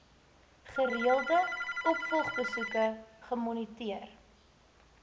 gereelde opvolgbesoeke gemoniteer